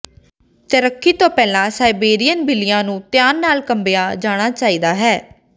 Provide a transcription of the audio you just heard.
ਤੈਰਾਕੀ ਤੋਂ ਪਹਿਲਾਂ ਸਾਈਬੇਰੀਅਨ ਬਿੱਲੀਆਂ ਨੂੰ ਧਿਆਨ ਨਾਲ ਕੰਬਿਆ ਜਾਣਾ ਚਾਹੀਦਾ ਹੈ